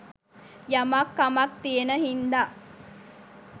යමක් කමක් තියෙන හින්ද